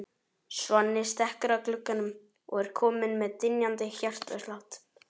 Svenni stekkur að glugganum og er kominn með dynjandi hjartslátt.